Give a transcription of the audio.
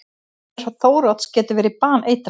Tommi Þórodds getur verið baneitraður!